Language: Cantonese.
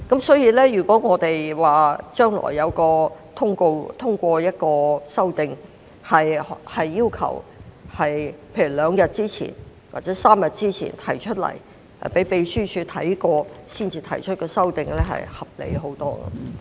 所以，如果將來能通過一項修訂，要求在例如兩天或3天前提出建議，經秘書處審閱後才提出修訂，相信會合理得多。